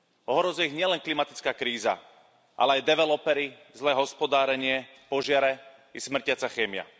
Ohrozuje ich nielen klimatická kríza, ale aj developeri, zlé hospodárenie, požiare i smrtiaca chémia.